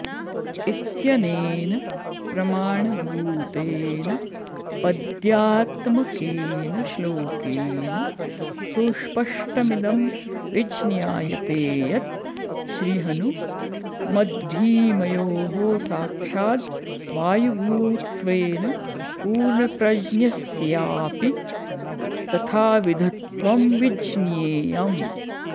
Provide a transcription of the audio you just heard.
इत्यनेन प्रमाणभूतेन पद्यात्मकेन श्लोकेन सुस्पष्टमिदं विज्ञायते यत् श्रीहनु मद्भीमयोः साक्षाद् वायुभूत्वेन पूर्णप्रज्ञस्यापि तथाविधत्वं विज्ञेयम्